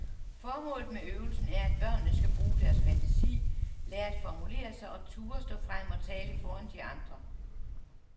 Formålet med øvelsen er, at børnene skal bruge deres fantasi, lære at formulere sig og turde stå frem og tale foran de andre.